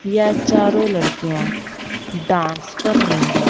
यह चारों लड़कियां डांस कर रही है।